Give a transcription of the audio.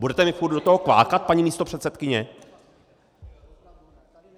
Budete mi furt do toho kvákat, paní místopředsedkyně?!